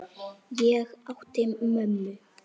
Ég átti mömmu.